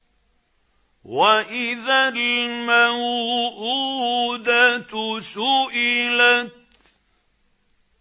وَإِذَا الْمَوْءُودَةُ سُئِلَتْ